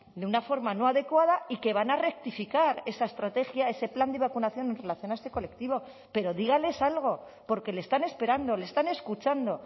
de una forma no adecuada y que van a rectificar esa estrategia ese plan de vacunación en relación a este colectivo pero dígales algo porque le están esperando le están escuchando